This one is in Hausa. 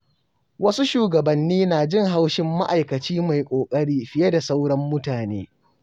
Wasu shugabanni na jin haushin ma’aikaci mai ƙoƙari fiye da sauran mutane.